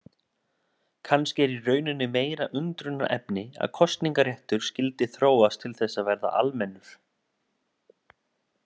Kannski er í rauninni meira undrunarefni að kosningaréttur skyldi þróast til þess að verða almennur.